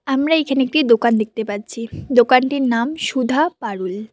আমরা এখানে একটি দোকান দেখতে পাচ্ছি দোকানটির নাম সুধা পারুল।